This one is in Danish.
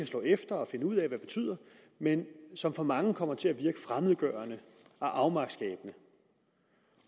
slå efter og finde ud af hvad betyder men som for mange kommer til at virke fremmedgørende og afmagtsskabende